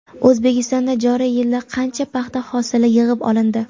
O‘zbekistonda joriy yilda qancha paxta hosili yig‘ib olindi?.